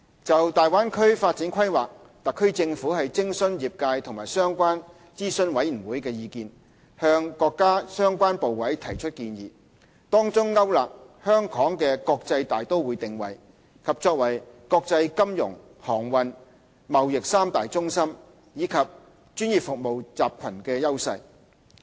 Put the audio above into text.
就大灣區發展規劃，特區政府徵詢業界和相關諮詢委員會，向國家相關部委提交建議，當中勾勒香港的國際大都會定位，以及作為國際金融、航運、貿易三大中心及專業服務集群的優勢。